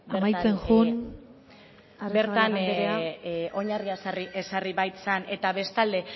amaitzen joan bertan oinarria ezarri baitzen eta bestalde